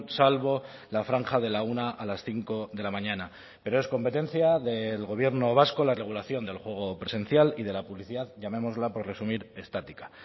salvo la franja de la una a las cinco de la mañana pero es competencia del gobierno vasco la regulación del juego presencial y de la publicidad llamémosla por resumir estática